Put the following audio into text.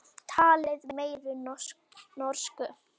Talið meiri norsku.